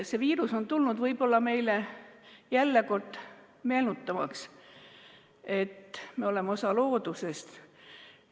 See viirus on tulnud meile taas kord meenutama, et me oleme osa loodusest.